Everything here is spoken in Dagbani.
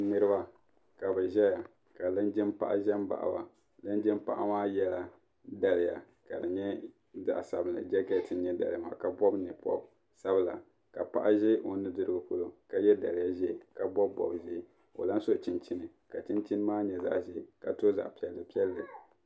niriba ka bɛ ʒeya ka linjin' paɣa ʒe m-baɣi ba linjin' paɣa maa yela daliya ka di nyɛ zaɣ' sabinli jɛkeeti nyɛ daliya maa ka pɔbi nye'pɔb' sabila ka paɣa ʒi o nuu dirigu polo ka ye daliya ʒiya ka bɔbi bɔb'ʒee ka o lan su chinchini ka chinchini maa nyɛ zaɣ' ʒee ka tɔ zaɣ' piɛlli piɛlli.